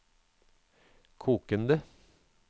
kokende